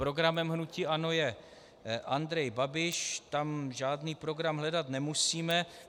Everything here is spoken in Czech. Programem hnutí ANO je Andrej Babiš, tam žádný program hledat nemusíme.